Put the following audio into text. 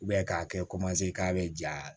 k'a kɛ k'a bɛ ja